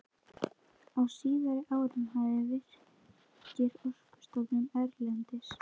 Á síðari árum hafa Virkir, Orkustofnun erlendis